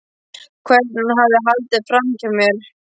Hvernig hann hafði haldið framhjá mér.